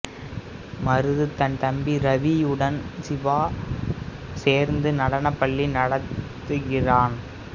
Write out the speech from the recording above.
மருது தன் தம்பி ரவியுடன் சிவா சேர்ந்து நடனப்பள்ளி நடத்துகிறான்